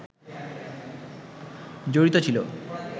জড়িত ছিল